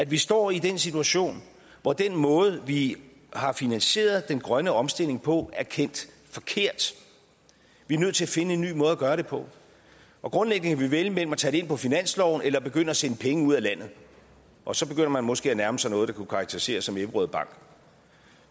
vi står i den situation hvor den måde vi har finansieret den grønne omstilling på er kendt forkert vi er nødt til at finde en ny måde at gøre det på grundlæggende kan vi vælge mellem at tage det ind på finansloven eller begynde at sende penge ud af landet og så begynder man måske at nærme sig noget der kunne karakteriseres som ebberød bank